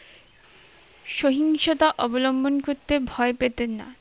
সহিংশতা অবলম্বন করতে ভয় পেতেন না।